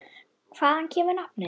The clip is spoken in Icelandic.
Hvaðan kemur nafnið?